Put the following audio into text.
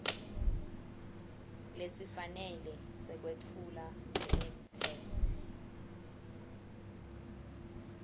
lesifanele sekwetfula njengetheksthi